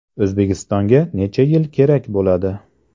O‘zbekistonga necha yil kerak bo‘ladi?